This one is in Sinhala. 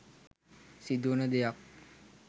සිදුවන දෙයක්.